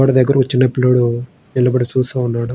వాడి దగ్గర ఒ చిన్న పిల్లోడు నిలబడి చూస్తున్నాడు.